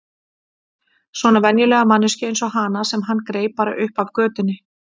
Svona venjulega manneskju eins og hana sem hann greip bara upp af götunni.